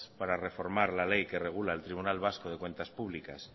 para reformar la ley que regula el tribunal vasco de cuentas públicas